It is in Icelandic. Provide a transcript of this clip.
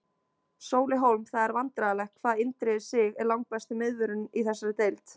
Sóli Hólm Það er vandræðalegt hvað Indriði Sig er langbesti miðvörðurinn í þessari deild.